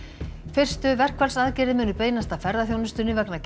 fyrstu verkfallsaðgerðir munu beinast að ferðaþjónustunni vegna